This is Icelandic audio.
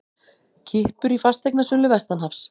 Kippur í fasteignasölu vestanhafs